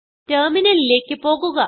ടെർമിനലിലേക്ക് പോകുക